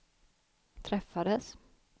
träffades